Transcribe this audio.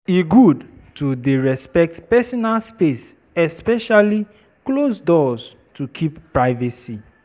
E good to dey respect personal space especially closed doors to keep privacy.